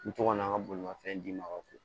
N mi to ka na an ka bolimafɛn d'i ma ka fɔ